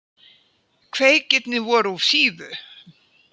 Kveikirnir voru úr fífu.